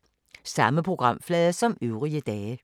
Samme programflade som øvrige dage